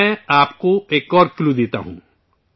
میں آپ کو ایک اور کلیو دیتا ہوں